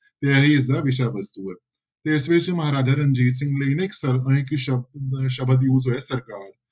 ਤੇ ਇਹੀ ਇਸਦਾ ਵਿਸ਼ਾ ਵਸਤੂ ਹੈ, ਤੇ ਇਸ ਵਿੱਚ ਮਹਾਰਾਜਾ ਰਣਜੀਤ ਸਿੰਘ ਲਈ ਨਾ ਇੱਕ ਸ਼ਬਦ ਸ਼ਬਦ use ਹੋਇਆ ਸਰਕਾਰ।